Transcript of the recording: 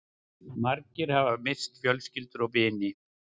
Margir hafa misst fjölskyldur og vini